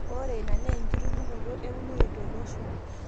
ore ina naa enkitubulunoto eunore tolosho